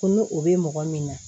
Ko n'o o bɛ mɔgɔ min na